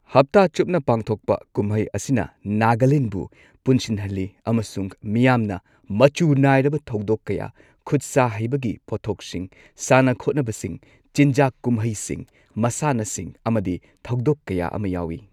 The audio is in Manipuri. ꯍꯞꯇꯥ ꯆꯨꯞꯅ ꯄꯥꯡꯊꯣꯛꯄ ꯀꯨꯝꯍꯩ ꯑꯁꯤꯅ ꯅꯥꯒꯥꯂꯦꯟꯕꯨ ꯄꯨꯟꯁꯤꯟꯍꯜꯂꯤ ꯑꯃꯁꯨꯡ ꯃꯤꯌꯥꯝꯅ ꯃꯆꯨ ꯅꯥꯏꯔꯕ ꯊꯧꯗꯣꯛ ꯀꯌꯥ, ꯈꯨꯠꯁꯥ ꯍꯩꯕꯒꯤ ꯄꯠꯊꯣꯛꯁꯤꯡ, ꯁꯅꯥ ꯈꯣꯠꯅꯕꯁꯤꯡ, ꯆꯤꯟꯖꯥꯛ ꯀꯨꯝꯍꯩꯁꯤꯡ, ꯃꯁꯥꯟꯅꯁꯤꯡ ꯑꯃꯗꯤ ꯊꯧꯗꯣꯛ ꯀꯌꯥ ꯑꯃ ꯌꯥꯎꯏ꯫